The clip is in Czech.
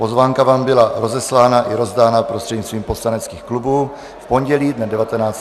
Pozvánka vám byla rozeslána i rozdána prostřednictvím poslaneckých klubů v pondělí dne 19. listopadu.